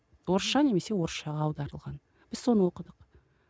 орысша немесе орысшаға аударылған біз соны оқыдық